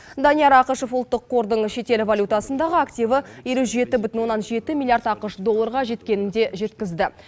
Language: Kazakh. данияр ақышев ұлттық қордың шетел валютасындағы активі елу жеті бүтін оннан жеті миллиард ақш долларға жеткенін де жеткізді